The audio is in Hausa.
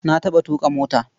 Na taɓa tuƙa mota.